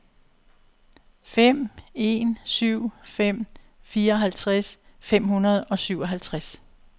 fem en syv fem fireoghalvtreds fem hundrede og syvoghalvtreds